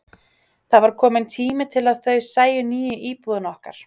Það var kominn tími til að þau sæju nýju íbúðina okkar.